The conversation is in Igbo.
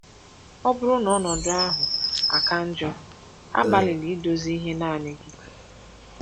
Ọ bụrụ na ọnọdụ ahụ aka njọ, agbalịla idozi ihe naanị gị.